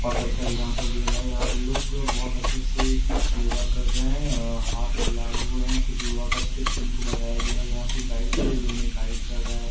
बहोत अच्छा एग्जांपल दिया जा रहा है यहाँ पे लोग बहोत अच्छे से योगा कर रहे हैं हाथ फैलाए हुए है कुछ योगा का स्टेप्स इनको बताया गया है यहाँ पे गाइड भी है जो इन्हें गाइड कर रहा है।